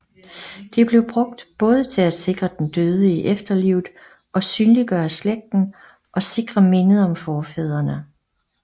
De blev brugt både til at sikre den døde i efterlivet og synliggøre slægten og sikre mindet om forfædrene